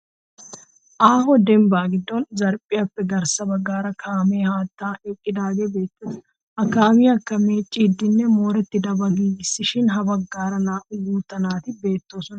Aaho dembbaa giddon zarphphiyaappe garssa baggaara kaamee haattan eqqidaagee beettes. Ha kaamiyakka meeciiddinne moorettidabaa giigissishin ha baggaara naa'u guutta naati beettoosona.